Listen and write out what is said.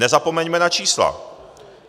Nezapomeňme na čísla.